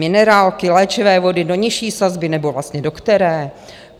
Minerálky, léčivé vody do nižší sazby, nebo vlastně do které?